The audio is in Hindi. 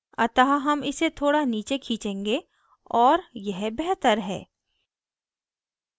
अतः हम इसे थोड़ा नीचे खींचेंगे और यह बेहतर है